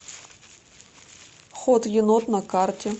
хот енот на карте